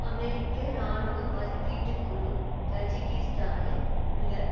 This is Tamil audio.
அமெரிக்க இராணுவ மதிப்பீட்டுக்குழு தஜிக்கிஸ்தானில் உள்ள